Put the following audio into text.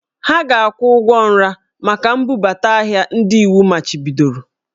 Ha ga-akwụ ụgwọ nra maka mbubata ahịa ndị iwu machibidoro